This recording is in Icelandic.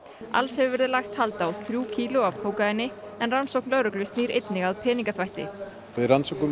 alls hefur verið lagt hald á þrjú kíló af kókaíni en rannsókn lögreglu snýr einnig að peningaþvætti við rannsökum